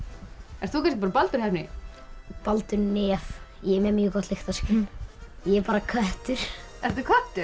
ert þú kannski Baldur heppni Baldur nef ég er með mjög gott lyktarskyn ég er bara köttur ertu köttur